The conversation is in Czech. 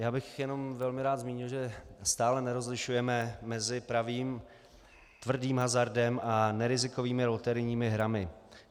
Já bych jenom velmi rád zmínil, že stále nerozlišujeme mezi pravým, tvrdým hazardem a nerizikovými loterijními hrami.